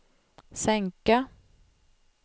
sänka